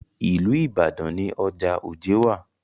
Ìlú Ìbàdàn ni ọjà Ojé wà.